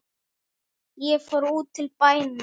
Ég fór út til bæna.